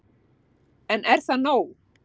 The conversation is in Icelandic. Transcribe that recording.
En er það nóg